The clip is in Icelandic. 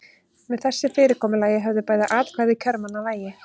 Með þessu fyrirkomulagi höfðu bæði atkvæði kjörmanna vægi.